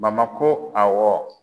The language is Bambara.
ko awɔ